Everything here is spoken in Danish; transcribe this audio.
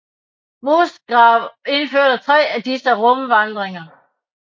Musgrave udførte 3 af disse rumvandringer